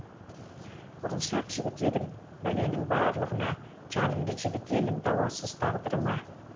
ұрыншақ жігіт едім бәленің барлығына жанымды жібітемін дауасыз тағдырыма